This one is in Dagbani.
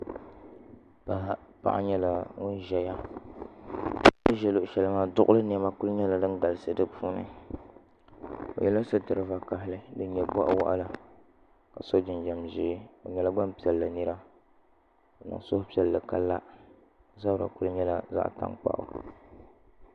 Paɣa nyɛla ŋun ʒɛya o ni ʒɛ luɣu shɛli maa duɣuli niɛma ku nyɛla din galisi dinnni o yɛla sitiri vakaɣali din nyɛ boɣa waɣala ka so jinjɛm ʒiɛ o nyɛla Gbanpiɛlli nira ka niŋ suhupiɛlli ka la o zabiri ku nyɛla zaɣ tankpaɣu